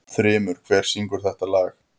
Þrymur, hver syngur þetta lag?